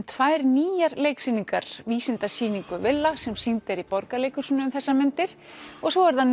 tvær nýjar leiksýningar Vísindasýningu villa sem sýnd er í Borgarleikhúsinu um þessar mundir og svo er það